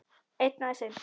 Einn, aðeins einn